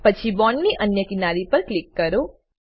પછી બોન્ડ ની અન્ય કિનારી પર ક્લિક કરો